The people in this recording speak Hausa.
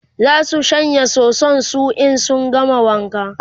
zasu shanya soson su in sun gama wanka